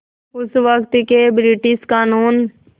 उस वक़्त के ब्रिटिश क़ानून